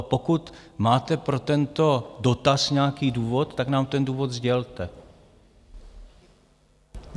A pokud máte pro tento dotaz nějaký důvod, tak nám ten důvod sdělte.